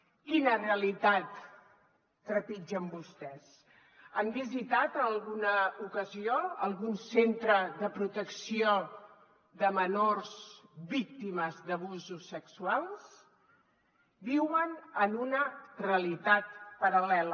quina realitat trepitgen vostès han visitat en alguna ocasió algun centre de pro·tecció de menors víctimes d’abusos sexuals viuen en una realitat paral·lela